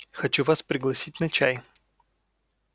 хочу вас пригласить на чай